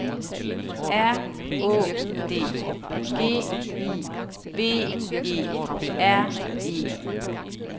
R Å D G I V E R E